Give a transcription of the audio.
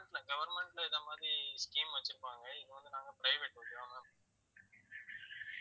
government ல government ல இந்த மாதிரி scheme வச்சிருப்பாங்க இது வந்து நாங்க private okay வா ma'am